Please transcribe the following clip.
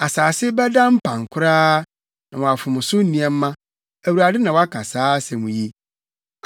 Asase bɛda mpan koraa, na wɔafom so nneɛma. Awurade, na waka saa asɛm yi.